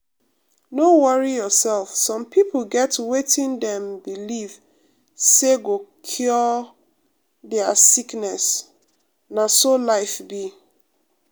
no worry yourself some pipo get wetin dem believe say go cure dia um sickness na so life be.